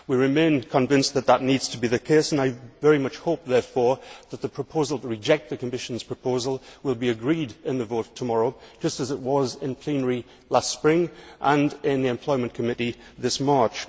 We remain convinced that that needs to be the case, and I very much hope therefore that the proposal to reject the Commission's proposal will be agreed in the vote tomorrow, just as it was in plenary last spring and in the Employment Committee this March.